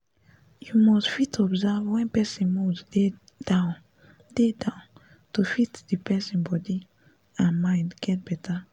you must fit observe wen person mood dey down dey down to fit d person body and mind get better